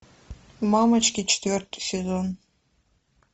мамочки четвертый сезон